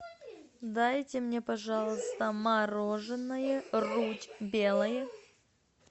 дайте мне пожалуйста мороженое рудь белое